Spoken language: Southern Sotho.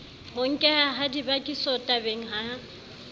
ho nkeha ha dibakisotabeng ya